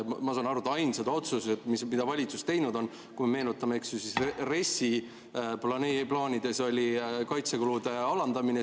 Ma saan aru, et ainsad otsused, mis valitsus teinud on, kui me meenutame, RES-i plaanides oli kaitsekulude alandamine.